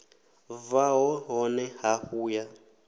bvaho hone ha hafu ya